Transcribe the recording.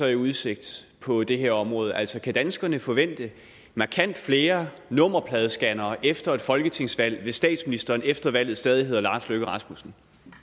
i udsigt på det her område altså kan danskerne forvente markant flere nummerpladescannere efter et folketingsvalg hvis statsministeren efter valget stadig hedder lars løkke rasmussen